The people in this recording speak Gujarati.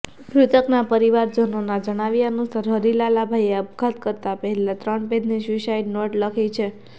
મૃતકના પરિવારજનોના જણાવ્યા અનુસાર હરિલાલાભાઇએ અપઘાત કરતા પહેલાં ત્રણ પેઇજની સ્યૂસાઇડ નોટ લખી છે